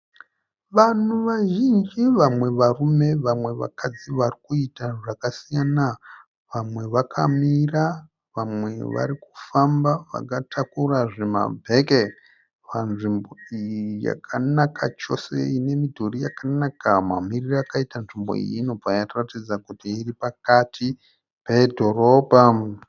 Vanhu vazhinji vamwe varume vamwe vakadzi varikuita zvakasiyana vamwe vakamira vamwe vari kufamba vakatakura zvimabheke panzvimbo iyi yakanaka chose ine midhori yakanaka mamiriro akaita nzvimbo iyi inobva yatiratidza kuti iri pakati pedhorobha.